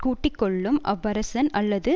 கூட்டி கொள்ளும் அவ்வரசன் அல்லது